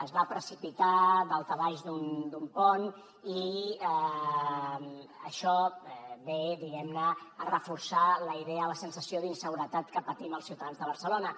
es va precipitar daltabaix d’un pont i això ve diguem ne a reforçar la idea de la sensació d’inseguretat que patim els ciutadans de barcelona